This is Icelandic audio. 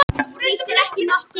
Hermann fær víða hrós